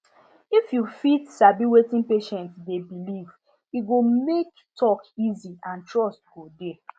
if you fit sabi wetin patient dey believe e go make talk easy and trust go dey